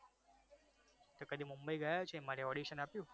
તો પછી મુંબઈ ગયા છો? એ માટે audition આપ્યુ?